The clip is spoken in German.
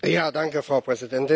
Frau Präsidentin!